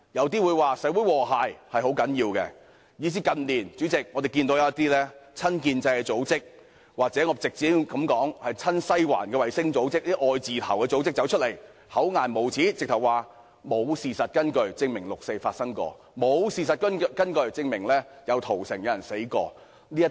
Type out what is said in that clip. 代理主席，我們近年甚至看到有一些親建制組織，或我稱之為親西環的衞星組織或"愛字頭"組織走出來，厚顏無耻地說沒有事實根據證明曾經發生過六四事件，以及曾經發生過屠城和死亡事件。